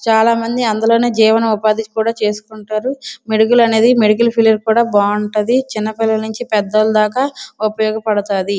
చాలా మంది అందులోనె జీవన ఉపాధి కూడా చేసుకుంటారు మెడికల్ అనేది మెడికల్ ఫీల్డ్ బావుంటది చిన్న పిల్లల దగర నుంచి పెద్ద వాళ్ళ దాకా ఉపయోగపడతాది.